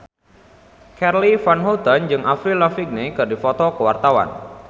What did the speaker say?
Charly Van Houten jeung Avril Lavigne keur dipoto ku wartawan